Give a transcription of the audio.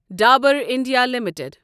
Dabur India limited